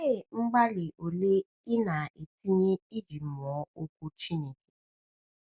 Olee mgbalị ole i na-etinye iji mụọ Okwu Chineke?